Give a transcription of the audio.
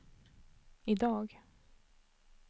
idag